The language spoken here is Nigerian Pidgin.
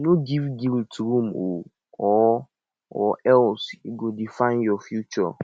no giv guilt room o or or else e go define yur future